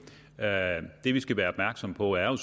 jamen det er vi skal være opmærksomme på er